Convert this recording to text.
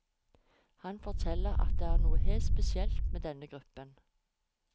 Han forteller at det er noe helt spesielt med denne gruppen.